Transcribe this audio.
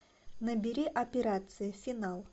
набери операция финал